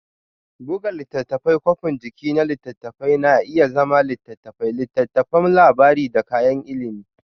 Buga Littattafai Kwafin jiki na littattafai na iya zama litattafai, littattafan labari da kayan ilimi.